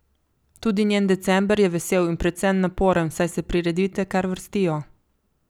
Tudi njen december je vesel in predvsem naporen, saj se prireditve kar vrstijo.